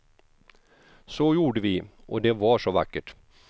Så gjorde vi, och det var så vackert.